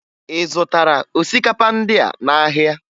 Ị zụtara osikapa ndịa n'ahịa?